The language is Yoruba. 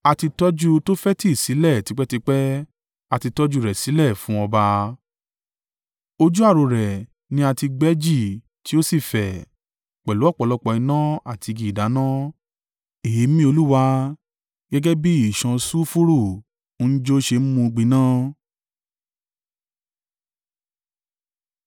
A ti tọ́jú Tofeti sílẹ̀ tipẹ́tipẹ́, a ti tọ́jú rẹ̀ sílẹ̀ fún ọba. Ojú ààrò rẹ̀ ni a ti gbẹ́ jì tí ó sì fẹ̀, pẹ̀lú ọ̀pọ̀lọpọ̀ iná àti igi ìdáná; èémí Olúwa, gẹ́gẹ́ bí ìṣàn sulfuru ń jó ṣe mú un gbiná.